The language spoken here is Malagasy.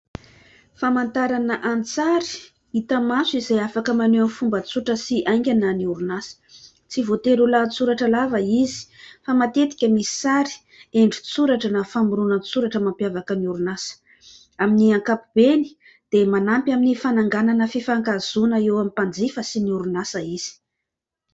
Famantarana an-tsary hita maso izay afaka maneo amin'ny fomba tsotra sy haingana ny orinasa. Tsy voatery ho lahatsoratra lava izy fa matetika misy sary, endrin-tsoratra na famoronan-tsoratra mampiavaka ny orinasa. Amin'ny ankapobeny dia manampy amin'ny fananganana fifankahazoana eo amin'ny mpanjifa sy ny orinasa izy.